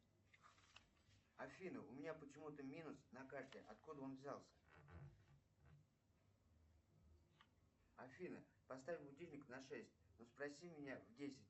афина у меня почему то минус на карте откуда он взялся афина поставь будильник на шесть но спроси меня в десять